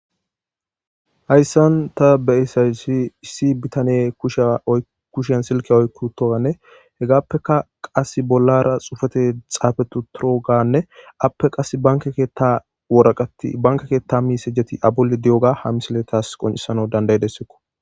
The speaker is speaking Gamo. Haysan ta beyizaysi issi bitaney ba kushan silka oyki utogane hegafeka qase bolara xaafeti utoganeape qaseka banke keetha misileti de'izaysa ha misiley qoncises